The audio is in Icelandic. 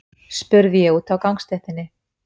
spurði ég úti á gangstéttinni.